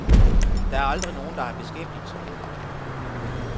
Der aldrig nogen, der har beskæftiget sig med det.